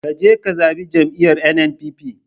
Kaje ka zabi jam'iyar NNPP